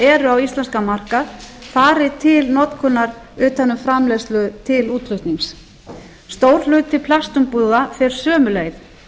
eru á íslenskan markað fari til notkunar utan um framleiðslu til útflutnings stór hluti plastumbúða fer sömu leið